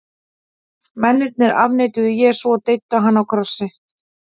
mennirnir afneituðu jesú og deyddu hann á krossi